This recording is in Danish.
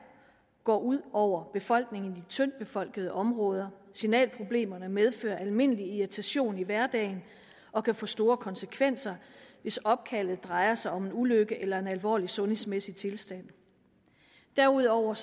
går ud over befolkningen i de tyndt befolkede områder signalproblemerne medfører almindelig irritation i hverdagen og kan få store konsekvenser hvis opkaldet drejer sig om en ulykke eller en alvorlig sundhedsmæssig tilstand derudover